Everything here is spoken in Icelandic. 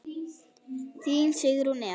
Þín Sigrún Eva.